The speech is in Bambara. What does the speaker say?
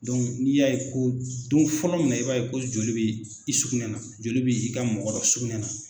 n'i y'a ye ko don fɔlɔ min na i b'a ye ko joli bɛ i sugunɛna, joli bɛ'i ka mɔgɔ dɔ sugunɛ na.